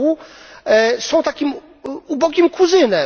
r., są takim ubogim kuzynem.